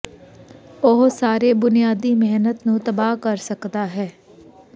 ਉਹ ਸਾਰੇ ਬੁਨਿਆਦੀ ਮਿਹਨਤ ਨੂੰ ਤਬਾਹ ਕਰ ਸਕਦਾ ਹੈ